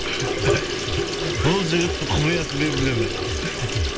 бұл жігіттің құпиясын мен білемін